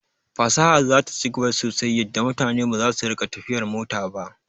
Fasaha zata ci gaba sosai yadda mutane baza su rika tafiyar mota ba